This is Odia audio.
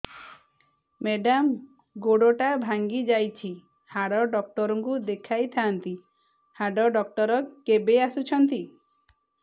ମେଡ଼ାମ ଗୋଡ ଟା ଭାଙ୍ଗି ଯାଇଛି ହାଡ ଡକ୍ଟର ଙ୍କୁ ଦେଖାଇ ଥାଆନ୍ତି ହାଡ ଡକ୍ଟର କେବେ ଆସୁଛନ୍ତି